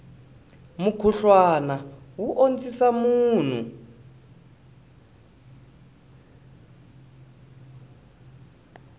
mukhuhlwana wu ondzisa munhu